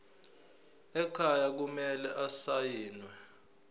ekhaya kumele asayiniwe